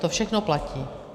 To všechno platí.